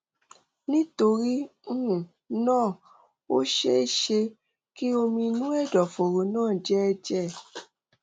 nítorí um náà ó ṣeé ṣe kí omi inú ẹdọfóró náà jẹ ẹjẹ um